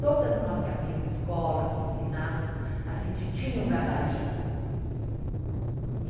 Todas nós que abrimos escola, que ensinávamos, a gente tinha um gabarito.